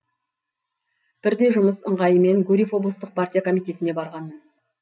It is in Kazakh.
бірде жұмыс ыңғайымен гурьев облыстық партия комитетіне барғанмын